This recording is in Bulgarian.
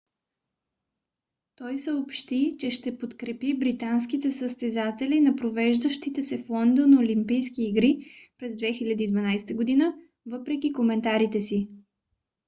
tой съобщи че ще подкрепи британските състезатели на провеждащите се в лондон олимпийски игри през 2012 г. въпреки коментарите си